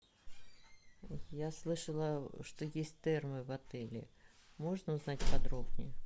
я слышала что есть термы в отеле можно узнать подробней